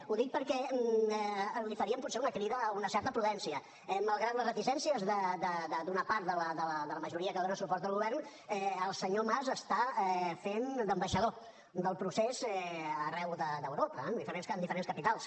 ho dic perquè li faríem potser una crida a una certa prudència malgrat les reticències d’una part de la majoria que dona suport al govern el senyor mas està fent d’ambaixador del procés arreu d’europa en diferents capitals